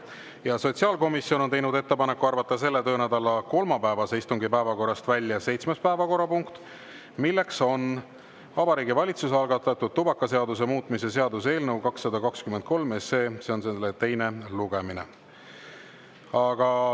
Ja sotsiaalkomisjon on teinud ettepaneku arvata selle töönädala kolmapäevase istungi päevakorrast välja seitsmes päevakorrapunkt, milleks on Vabariigi Valitsuse algatatud tubakaseaduse muutmise seaduse eelnõu 223 teine lugemine.